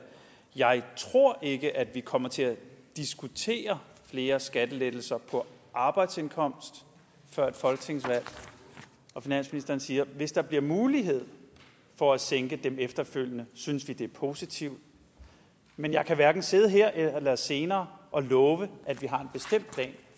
jeg tror ikke at vi kommer til at diskutere flere skattelettelser på arbejdsindkomst før et folketingsvalg og finansministeren siger hvis der bliver mulighed for at sænke dem efterfølgende synes vi det er positivt men jeg kan hverken sidde her eller senere og love at vi